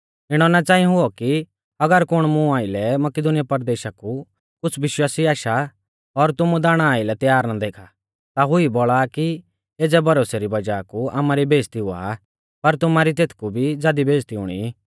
इणौ ना च़ांई हुऔ कि अगर कुण मुं आइलै मकिदुनीया परदेशा कु कुछ़ विश्वासी आशा और तुमु दाणा आइलै तैयार ना देखा ता हुई बौल़ा आ कि एज़ै भरोसै री वज़ाह कु आमारी बेइज़्ज़ती हुआ पर तुमारी तेथकु भी ज़ादी बेइज़्ज़ती हुणी